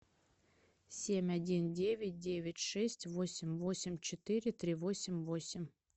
семь один девять девять шесть восемь восемь четыре три восемь восемь